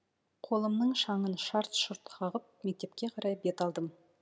қолымның шаңын шарт шұрт қағып мектепке қарай бет алдым